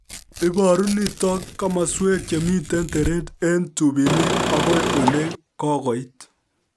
Iboru nitok komaswek chemitei teret eng' tupinik akoi ole kokoit